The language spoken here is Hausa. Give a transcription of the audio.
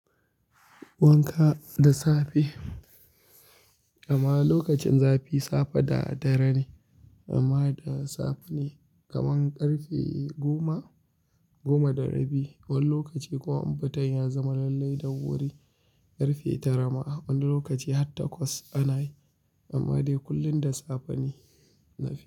Wanka da safe, amma lokacin zafi safe da dare ne amma da safe ne kaman ƙarfe goma, goma da rabi. Wani lokaci kuma in futan ya zama lallai da wuri ƙarfe tara ma wani lokaci har takwas ana yi amma dai kullum da safe ne zafi.